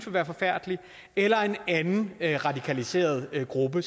være forfærdeligt eller en anden radikaliseret gruppe